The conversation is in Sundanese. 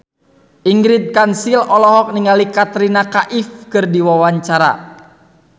Ingrid Kansil olohok ningali Katrina Kaif keur diwawancara